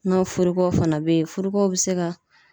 N'a furukow fana be yen, furu ko be se ka